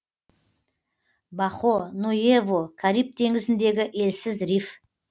бахо нуэво кариб теңізіндегі елсіз риф